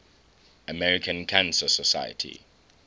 american cancer society